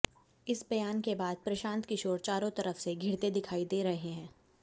इस बयान के बाद प्रशांत किशोर चारों तरफ से घिरते दिखाई दे रहे हैं